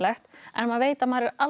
en maður veit að maður er aldrei